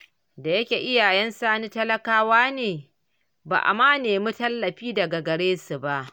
Da yake iyayen Sani talakawa ne, ba a ma nemi tallafi daga garesu ba.